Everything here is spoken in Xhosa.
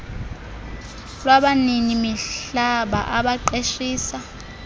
lwabanini mihlaba abaqeshisa